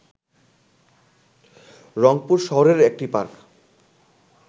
রংপুর শহরের একটি পার্ক